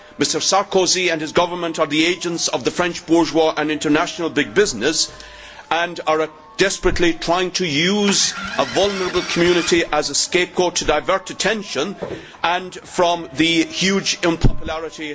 Mr Sarkozy and his government are the agents of the French bourgeoisie and international big business and are desperately trying to use a vulnerable community as a scapegoat to divert attention from their huge unpopularity.